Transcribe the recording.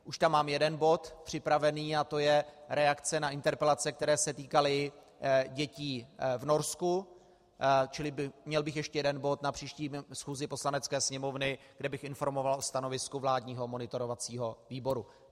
Už tam mám jeden bod připravený, a to je reakce na interpelace, které se týkaly dětí v Norsku, čili měl bych ještě jeden bod na příští schůzi Poslanecké sněmovny, kde bych informoval o stanovisku vládního monitorovacího výboru.